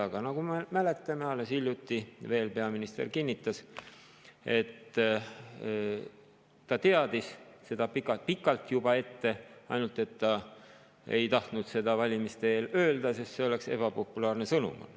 Aga nagu me mäletame, veel alles hiljuti kinnitas peaminister, et ta teadis sellest juba pikalt ette, aga ei tahtnud seda valimiste eel öelda, sest see oleks olnud ebapopulaarne sõnum.